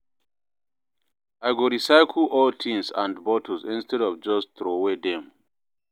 I go recycle old tins and bottles instead of just troway dem.